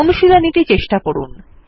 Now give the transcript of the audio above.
অনুশীলনী টি চেষ্টা করুন